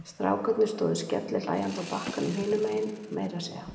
Strákarnir stóðu skellihlæjandi á bakkanum hinum megin og meira að segja